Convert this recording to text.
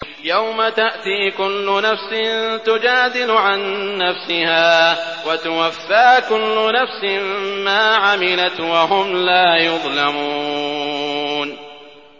۞ يَوْمَ تَأْتِي كُلُّ نَفْسٍ تُجَادِلُ عَن نَّفْسِهَا وَتُوَفَّىٰ كُلُّ نَفْسٍ مَّا عَمِلَتْ وَهُمْ لَا يُظْلَمُونَ